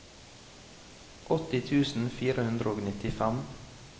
åtti tusen fire hundre og nittifem